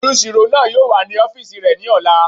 Olùsirò náà yóò wà ní ọ́fìsì rẹ̀ ní ọ̀la